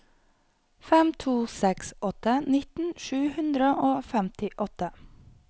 fem to seks åtte nitten sju hundre og femtiåtte